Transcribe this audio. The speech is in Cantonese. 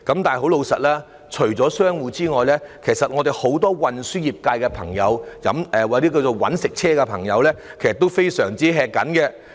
但除了商戶外，其實運輸業界很多我們稱為駕駛"搵食車"的朋友，情況也非常吃緊。